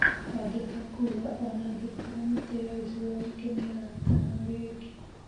Wangeka kuuga ona angĩkorwo mĩtĩ ya gĩcigo gĩkĩ nĩ-ĩratarwo rĩngĩ.